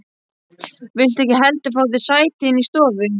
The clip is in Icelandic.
Viltu ekki heldur fá þér sæti inni í stofu?